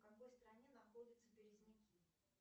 в какой стране находятся березняки